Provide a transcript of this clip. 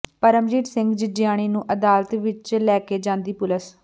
ਪਰਮਜੀਤ ਸਿੰਘ ਜਿੱਜੇਆਣੀ ਨੂੰ ਅਦਾਲਤ ਵਿੱਚ ਲੈਕੇ ਜਾਂਦੀ ਪੁਲਿਸ